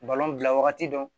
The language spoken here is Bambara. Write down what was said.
bila wagati dɔn